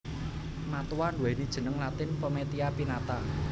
Matoa nduwéni jeneng latin Pometia pinnata